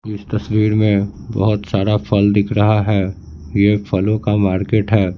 इस तस्वीर में बहुत सारा फल दिख रहा है यह फलों का मार्केट है।